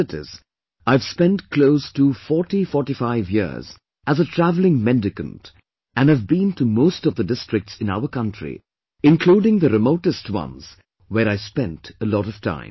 As it is I have spent close to 40 to 45 years as a travelling mendicant and have been to most of the districts in our country including the remotest once where I spent a lot of time